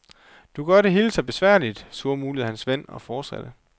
Du gør det hele så besværligt, surmulede hans ven og fortsatte.